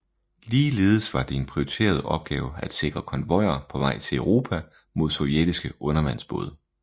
Ligeledes var det en prioriteret opgave at sikre konvojer på vej til Europa mod sovjetiske undervandsbåde